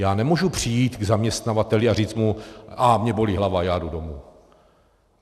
Já nemůžu přijít k zaměstnavateli a říct mu ach, mě bolí hlava, já jdu domů.